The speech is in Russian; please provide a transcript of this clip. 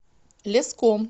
леском